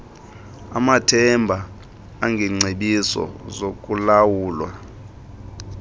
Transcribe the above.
amathemba engengcebiso zokulawulwa